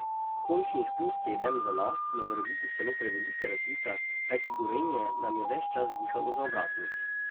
Končnih plus sedem za nas je morebiti celo prevelika razlika, kajti Gorenje nam je ves čas dihalo za ovratnik.